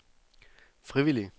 frivillige